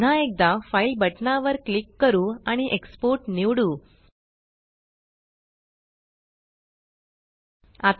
पुन्हा एकदा fileफाइल बटना वर क्लिक करू आणि एक्सपोर्ट एक्सपोर्टनिवडू